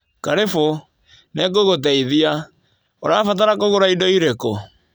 Karĩbũ. Nĩngũgũteithia. ũrabatara kũgũra indo irĩkũ?